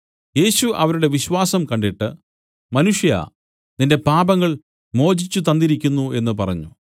യേശു അവരുടെ വിശ്വാസം കണ്ടിട്ട് മനുഷ്യാ നിന്റെ പാപങ്ങൾ മോചിച്ചു തന്നിരിക്കുന്നു എന്നു പറഞ്ഞു